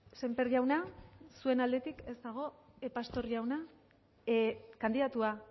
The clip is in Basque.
sémper jauna zuen aldetik ez dago pastor jauna kandidatua